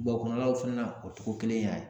kɔnɔlaw fana na o cogo kelen y'a ye